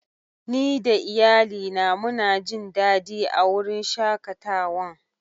Ni da Iyalli na muna Jin dadi a'wurin shakatawan.